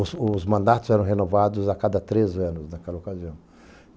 Os mandatos eram renovados a cada três anos naquela ocasião.